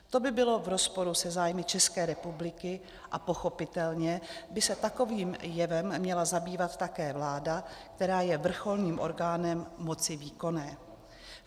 To by bylo v rozporu se zájmy České republiky a pochopitelně by se takovým jevem měla zabývat také vláda, která je vrcholným orgánem moci výkonné.